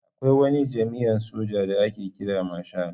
Akwai wani jami'in soja da ake kira marshal.